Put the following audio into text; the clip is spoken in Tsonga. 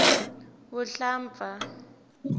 vuhlampfa